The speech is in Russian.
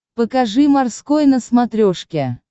покажи морской на смотрешке